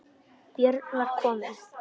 Björn var kominn.